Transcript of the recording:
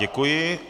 Děkuji.